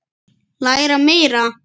Læra meira.